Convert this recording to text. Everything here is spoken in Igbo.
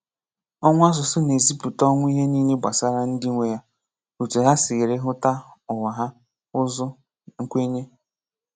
Ọnwụ̀ asụ̀sụ́ na-ezìpụ̀tà ọnwụ̀ ihe niile gbasàrà ndị nwe ya – ótu hà sì ríhụ́ta ǔwà hà, ǔzụ́, nkwènyé.